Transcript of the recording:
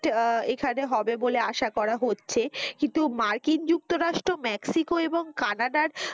এখানে হবে বলে আশা করা হচ্ছে কিন্তু মার্কিন যুক্তরাষ্ট্র মেস্কিকো এবং কানাডার,